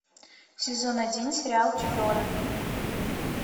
сезон один сериал тюдоры